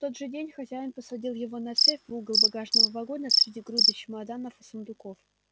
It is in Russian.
в тот же день хозяин посадил его на цепь в угол багажного вагона среди груды чемоданов и сундуков